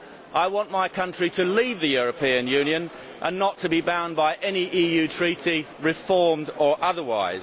I want my country to leave the European Union and not to be bound by any EU Treaty, reformed or otherwise.